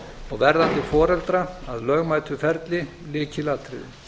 og verðandi foreldra að lögmætu ferli lykilatriði